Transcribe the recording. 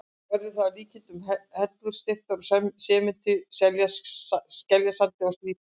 Verður það að líkindum hellur steyptar úr sementi og skeljasandi, slípaðar.